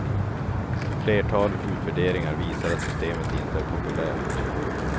Ett flertal utvärderingar visar att systemet inte är populärt.